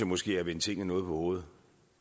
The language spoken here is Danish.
måske er at vende tingene noget på hovedet